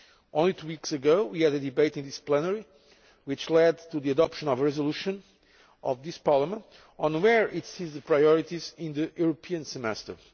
Only two weeks ago, we had a debate in this plenary which led to the adoption of a resolution of this Parliament on where it sees the priorities in the European Semester.